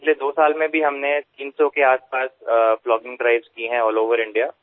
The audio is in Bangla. গতদুইবছরে আমরা প্রায় 300 টি ব্লগিং ড্রাইভ করেছি গোটা ভারত জুড়ে